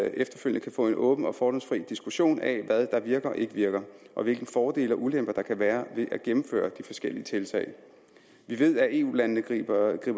efterfølgende kan få en åben og fordomsfri diskussion af hvad der virker og ikke virker og hvilke fordele og ulemper der kan være ved at gennemføre de forskellige tiltag vi ved at eu landene griber det